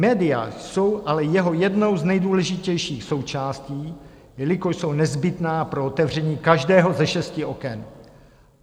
Média jsou ale jeho jednou z nejdůležitějších součástí, jelikož jsou nezbytná pro otevření každého ze šesti oken.